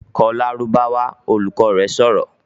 "Kọ Lárúbáwá!", Olùkọ́ rẹ̀ sọ̀rọ̀